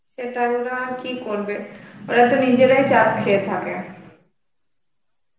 সেটা ওরা কি করবে, ওরা তো নিজেরাই চাপ খেয়ে থাকে.